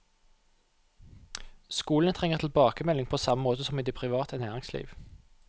Skolene trenger tilbakemelding på samme måte som i det private næringsliv.